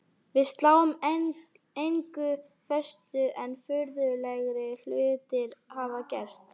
Við sláum engu föstu en furðulegri hlutir hafa gerst.